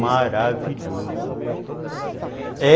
maravilhoso. É...